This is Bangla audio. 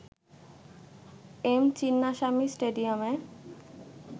এম চিন্নাস্বামী স্টেডিয়ামে